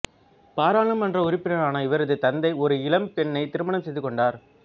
பாராளுமன்ற உறுப்பினரான இவரது தந்தை ஒரு இளம் பெண்ணை திருமணம் செய்து கொண்டார்